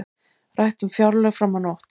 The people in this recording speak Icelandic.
Rætt um fjárlög fram á nótt